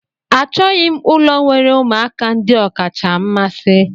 Achọghị m ụlọ nwere ụmụaka ndị ọkacha mmasị.